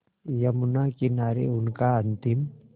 यमुना किनारे उनका अंतिम